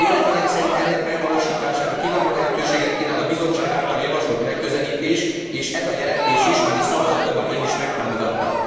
Véleményem szerint ennek megvalósítására kiváló lehetőséget kínál a Bizottság által javasolt megközelítés és ez a jelentés is, amit szavazatommal én is megtámogattam.